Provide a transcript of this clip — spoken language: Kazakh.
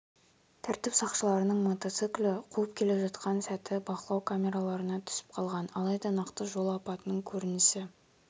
тәртіп сақшыларының мотоциклді қуып келе жатқан сәті бақылау камераларына түсіп қалған алайда нақты жол апатының көрінісі